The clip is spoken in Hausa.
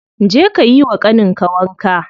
Je ka yiwa ƙanin ka wanka.